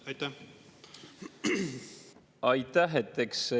Aitäh!